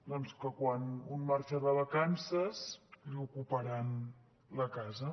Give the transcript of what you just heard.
doncs que quan un marxa de vacances li ocuparan la casa